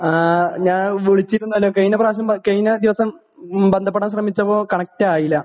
ഞാൻ വിളിച്ചിരുന്നു . കഴിഞ്ഞ പ്രാവശ്യം ബന്ധപ്പെട്ടപ്പോൾ കണക്ട് ആയില്ല